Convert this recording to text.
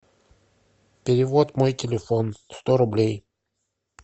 перевод мой телефон сто рублей